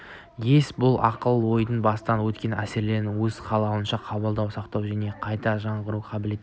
ес бұл ақыл-ойдың бастан өткен әсерлерді өз қалауынша қабылдау сақтау және қайта жаңғырту қабілеті